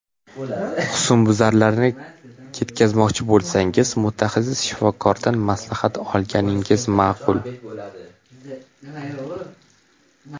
Husnbuzarlarni ketkazmoqchi bo‘lsangiz, mutaxassis shifokordan maslahat olganingiz ma’qul.